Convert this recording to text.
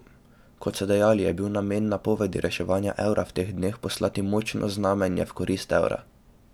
Kot so dejali, je bil namen napovedi reševanja evra v teh dneh poslati močno znamenje v korist evra.